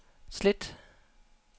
slet